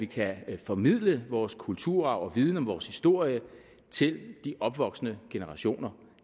kan formidle vores kulturarv og viden om vores historie til de opvoksende generationer